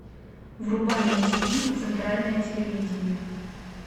врубай на тв центральное телевидение